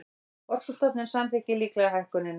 Orkustofnun samþykkir líklega hækkunina